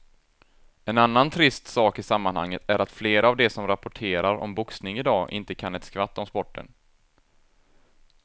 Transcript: En annan trist sak i sammanhanget är att flera av de som rapporterar om boxning i dag inte kan ett skvatt om sporten.